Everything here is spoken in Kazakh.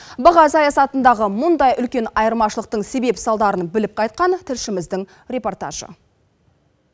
баға саясатындағы мұндай үлкен айырмашылықтың себеп салдарын біліп қайтқан тілшіміздің репортажы